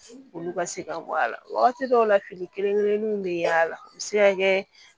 Olu ka se ka bɔ a la wagati dɔw la fini kelen kelenninw be yaala u bi se ka kɛ